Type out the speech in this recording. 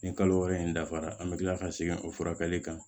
Nin kalo wɔɔrɔ in dafara an bɛ kila ka segin o furakɛli kan